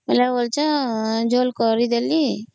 ଝୋଳ କରିଦେଲି